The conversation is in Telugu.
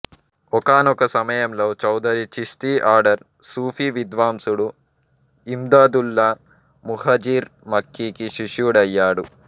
ఒకానొక సమయంలో చౌదరి చిష్తి ఆర్డర్ సూఫీ విద్వాంసుడు ఇమ్దాదుల్లా ముహాజిర్ మక్కీకి శిష్యుడయ్యాడు